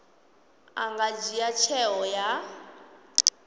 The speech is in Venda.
a nga dzhia tsheo ya